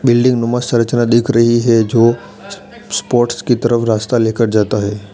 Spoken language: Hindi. बिल्डिंग नुमा संरचना दिख रही है जो स्पोर्ट्स की तरफ रास्ता लेकर जाता है।